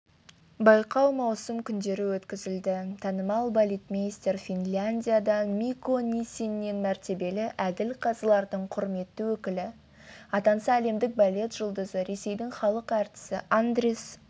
байқау маусым күндері өткізілді танымал балетмейстер финляндиядан микко ниссинен мәртебелі әділқазылардың құрметті өкілі атанса әлемдік балет жұлдызы ресейдің халық әртісі андрис